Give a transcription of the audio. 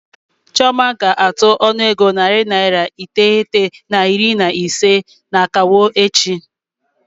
Chioma ga-atụ ọnụego naira narị iteghete na iri na ise n'akawo echi.